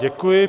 Děkuji.